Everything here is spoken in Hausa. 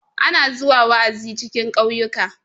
ana zuwa wa'azi cikin kauyuka